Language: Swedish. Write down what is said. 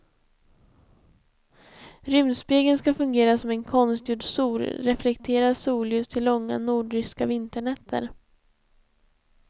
Rymdspegeln ska fungera som en konstgjord sol reflekterar solljus till långa nordryska vinternätter.